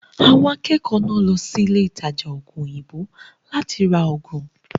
Àwọn akẹ́kọ̀ọ́ náà lọ sí ilé ìtajà ògùn òyìnbó láti ra ògùn.